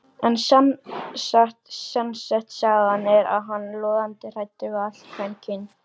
En sannast sagna er hann logandi hræddur við allt kvenkyn